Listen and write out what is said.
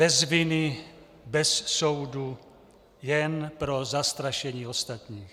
Bez viny, bez soudu, jen pro zastrašení ostatních.